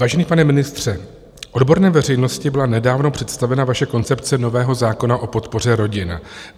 Vážený pane ministře, odborné veřejnosti byla nedávno představena vaše koncepce nového zákona o podpoře rodin.